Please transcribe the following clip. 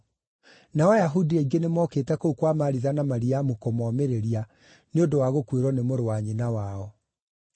nao Ayahudi aingĩ nĩmokĩte kũu kwa Maritha na Mariamu kũmomĩrĩria nĩ ũndũ wa gũkuĩrwo nĩ mũrũ wa nyina wao.